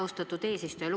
Austatud eesistuja!